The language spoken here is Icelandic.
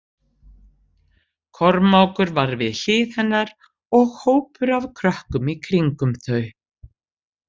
Kormákur var við hlið hennar og hópur af krökkum í kringum þau.